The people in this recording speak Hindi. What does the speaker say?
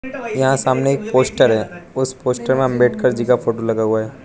यहां सामने एक पोस्टर है उस पोस्टर में अंबेडकर जी का फोटो लगा हुआ है।